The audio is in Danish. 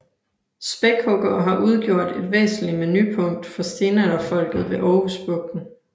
Spækhuggere har udgjort et væsentligt menupunkt for stenalderfolket ved Aarhus Bugten